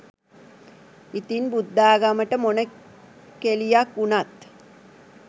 ඉතින් බුද්ධාගමට මොන කෙලියක් උනත්